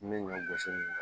N bɛ ɲɔ gosi